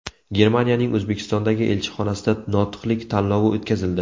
Germaniyaning O‘zbekistondagi elchixonasida notiqlik tanlovi o‘tkazildi.